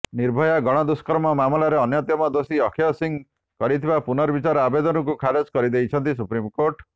ନିର୍ଭୟା ଗଣଦୁଷ୍କର୍ମ ମାମଲାର ଅନ୍ୟତମ ଦୋଷୀ ଅକ୍ଷୟ ସିଂହ କରିଥିବା ପୁନର୍ବିଚାର ଆବେଦନକୁ ଖାରଜ କରିଦେଇଛନ୍ତି ସୁପ୍ରିମକୋର୍ଟ